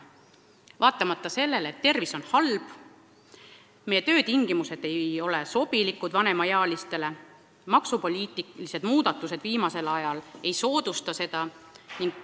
Nad käivad tööl vaatamata sellele, et tervis on halb, et meie töötingimused ei pruugi vanemaealistele sobida ja et maksupoliitilised muudatused viimasel ajal ei soodusta seda.